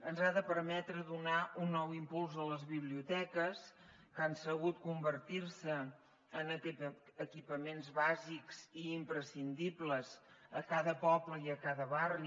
ens ha de permetre donar un nou impuls a les biblioteques que han sabut convertir se en equipaments bàsics i imprescindibles a cada poble i a cada barri